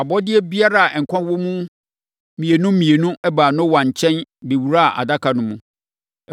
Abɔdeɛ biara a nkwa wɔ wɔn mu mmienu mmienu baa Noa nkyɛn bɛwuraa Adaka no mu.